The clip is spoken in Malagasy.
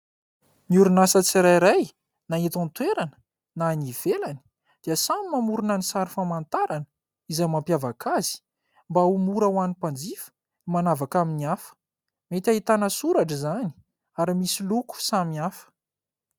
Ny orinasa tsirairay na eto an-toerana na any ivelany dia samy mamorona ny sary famantarana izay mampiavaka azy, mba ho mora ho an'ny mpanjifa ny manavaka amin'ny hafa ; mety ahitana soratra izany ary misy loko samihafa.